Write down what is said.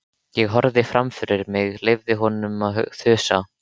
Ég horfði fram fyrir mig, leyfði honum að þusa.